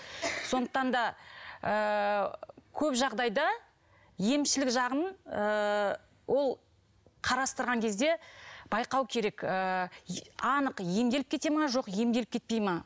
сондықтан да ыыы көп жағдайда емшілік жағын ыыы ол қарастырған кезде байқау керек ыыы анық емделіп кете ме жоқ емделіп кетпей ме